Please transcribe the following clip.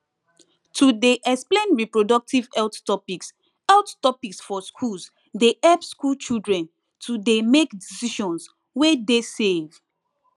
to dey explain reproductive health topics health topics for schools dey help school children to dey make decisions wey dey safe